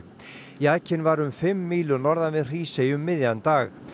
jakinn var um fimm mílur norðan við Hrísey um miðjan dag